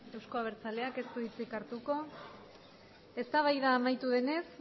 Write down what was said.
euzko abertzaleak ez du hitzik hartuko eztabaida amaitu denez